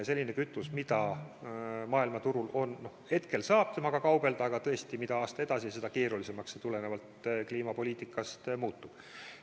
Praegu saab selle õliga kaubelda, aga tõesti, mida aasta edasi, seda keerulisemaks see tulenevalt kliimapoliitikast muutub.